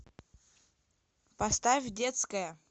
поставь детская